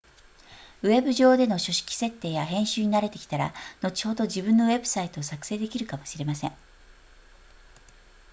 ウェブ上での書式設定や編集に慣れてきたら後ほど自分のウェブサイトを作成できるかもしれません